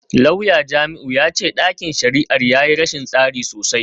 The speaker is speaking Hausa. Lauya Jamiu ya ce dakin shari’ar ya yi rashin tsari sosai.